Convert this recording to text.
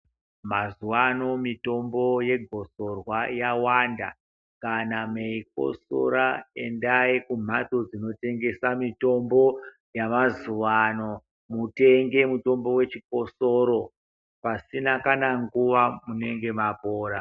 Mazuvano mitombo yegosorwa yawanda. Kana meikotsora endai kumhatso dzinotengesa mitombo yamazuvano mutenge mutombo wechikosoro. Pasina kana nguva munenge mapora.